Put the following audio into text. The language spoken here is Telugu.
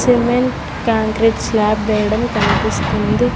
సిమెంట్ క్యాంక్రీట్ స్లాప్ వేయడం కనిపిస్తుంది.